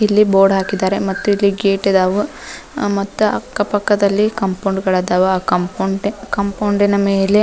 ಇಲ್ಲಿ ಬೋರ್ಡ್ ಹಾಕಿದ್ದಾರೆ ಮತ್ತೆ ಇಲ್ಲಿ ಗೇಟ್ ಇದಾವು ಮತ್ತ ಅಕ್ಕಪಕ್ಕದಲ್ಲಿ ಕಾಂಪೌಂಡ್ ಗಳದಾವ್ ಆ ಕಂಪೌಂಡಿನ ಮೇಲೆ --